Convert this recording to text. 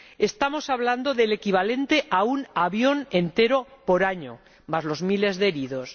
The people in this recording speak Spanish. Estamos hablando del equivalente a un avión entero por año, más los miles de heridos.